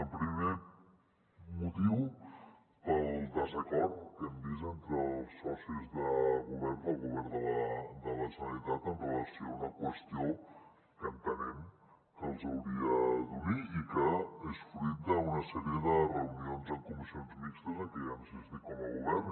el primer motiu pel desacord que hem vist entre els socis de govern del govern de la generalitat amb relació a una qüestió que entenem que els hauria d’unir i que és fruit d’una sèrie de reunions en comissions mixtes en què han assistit com a govern